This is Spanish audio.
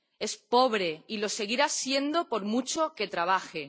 Es pobre y lo seguirá siendo por mucho que trabaje.